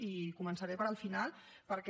i començaré per al final perquè